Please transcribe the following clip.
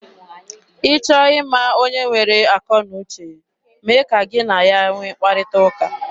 Ị chọọ ịma onye nwere akọ na uche, mee ka gị na ya nwee mkparịta ụka.